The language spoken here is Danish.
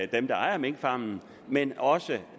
dem der ejer minkfarme men også